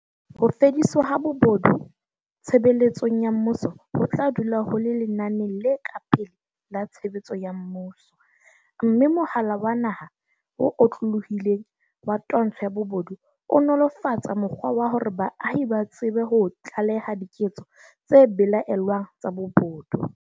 Ho fediswa ha bobo du tshebeletsong ya mmuso ho tla dula ho le lenaneng le ka pele la tshebetso ya mmuso, mme mohala wa naha o otlolohileng wa twantsho ya bobodu o nolofatsa mokgwa wa hore baahi ba tsebe ho tlaleha diketso tse belaellwang tsa bobodu.